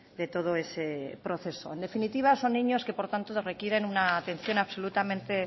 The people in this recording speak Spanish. de todo ese proceso en definitiva son niños que por tanto requieren una atención absolutamente